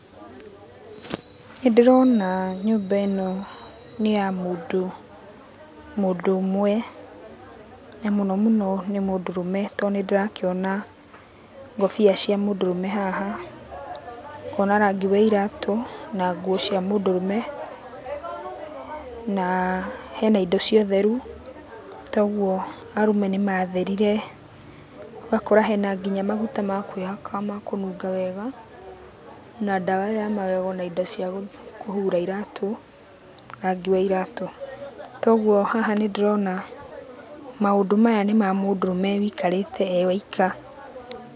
Nĩndĩrona nyũmba ĩno nĩ ya mũndũ, mũndũ ũmwe, na mũno mũno nĩ mũndũrũme tondũ nĩndĩrakĩona ngũbia cia mũndũrũme haha, ngona rangi wa iratũ, na nguo cia mũndũrũme, naa hena indo cia ũtheru, toguo arũme nĩmatherire, ũgakora kinya hena maguta ma kwĩhaka ma kũnunga wega, na ndawa ya magego na indo cia kũhura iratũ, rangi wa iratũ. Toguo haha nĩndĩrona maũndũ maya nĩ mamũndũrũme wĩikarĩte e waika.